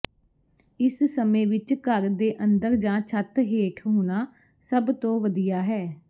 ਇਸ ਸਮੇਂ ਵਿੱਚ ਘਰ ਦੇ ਅੰਦਰ ਜਾਂ ਛੱਤ ਹੇਠ ਹੋਣਾ ਸਭ ਤੋਂ ਵਧੀਆ ਹੈ